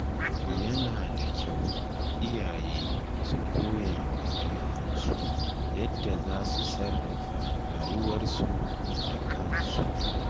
Yana da kyau iyaye su koya wa ‘ya’yansu yadda za su sarrafa rayuwarsu da kansu.